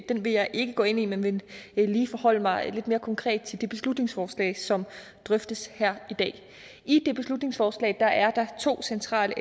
den vil jeg ikke gå ind i men vil forholde mig lidt mere konkret til det beslutningsforslag som drøftes her i dag i det beslutningsforslag er der to centrale